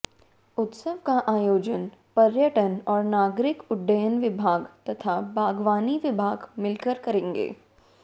उत्सव का आयोजन पर्यटन और नागरिक उड्डयन विभाग तथा बागवानी विभाग मिलकर करेंगे